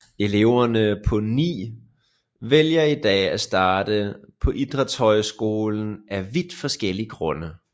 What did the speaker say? Eleverne på NIH vælger i dag at starte på idrætshøjskolen af vidt forskellige grunde